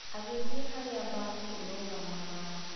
Agĩthiĩ harĩa mbathi ĩrũgamaga.